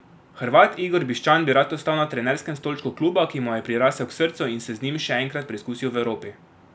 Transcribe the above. Hrvat Igor Bišćan bi rad ostal na trenerskem stolčku kluba, ki mu je prirasel k srcu, in se z njim še enkrat preizkusil v Evropi.